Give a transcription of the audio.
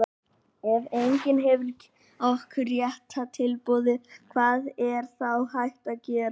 ef enginn gefur okkur rétta tilboðið hvað er þá hægt að gera?